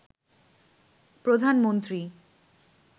প্রধানমন্ত্রী